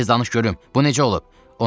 Tez danış görüm, bu necə olub?